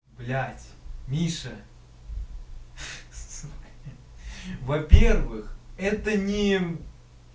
блядь миша сука во-первых это не